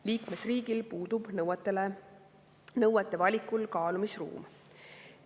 Liikmesriigil puudub nõuete valikul kaalumisruum.